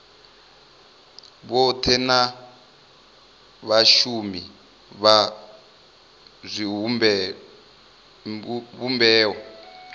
vhothe na vhashumi vha zwivhumbeo